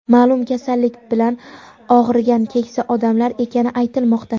ma’lum kasallik bilan og‘rigan keksa odamlar ekani aytilmoqda.